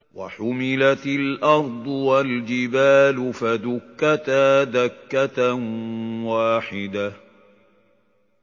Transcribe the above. وَحُمِلَتِ الْأَرْضُ وَالْجِبَالُ فَدُكَّتَا دَكَّةً وَاحِدَةً